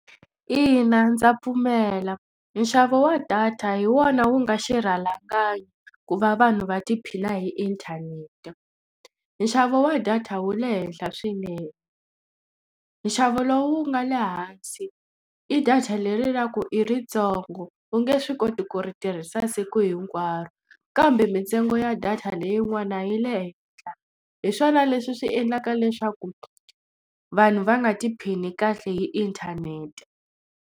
Ina ndza pfumela nxavo wa data hi wona wu nga xirhalanganyi ku va vanhu va tiphina hi inthanete nxavo wa data wu le henhla swinene nxavo lowu nga le hansi i data leri ra ku i ritsongo u nge swi koti ku ri tirhisa siku hinkwaro kambe mintsengo ya data leyin'wana yi le henhla hi swona leswi swi endlaka leswaku vanhu va nga tiphini kahle hi inthanete.